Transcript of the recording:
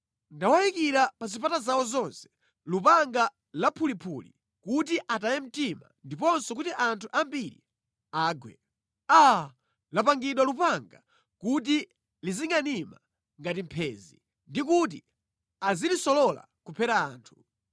Ndawayikira pa zipata zawo zonse lupanga laphuliphuli kuti ataye mtima ndiponso kuti anthu ambiri agwe. Aa! Lapangidwa lupanga kuti lizingʼanima ngati mphenzi ndi kuti azilisolola kuphera anthu.